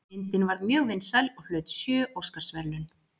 Myndin varð mjög vinsæl og hlaut sjö Óskarsverðlaun.